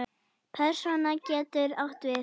Persóna getur átt við